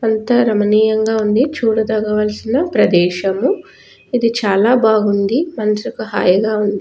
అంతా రామనీయంగా ఉంది చూడదగా వలసినప్రదేశము ఇది చాలాబాగుంది మనసుకు హాయిగా ఉంది.